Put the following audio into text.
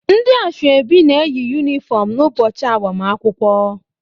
Ndị asọebi na-eyi yunifọm n'ụbọchị agbamakwụkwọ